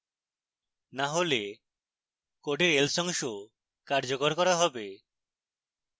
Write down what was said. না হলে code else অংশ কার্যকর করা হবে